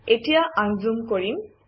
এতিয়া আনজুম কৰিম